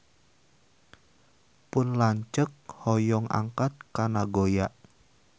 Pun lanceuk hoyong angkat ka Nagoya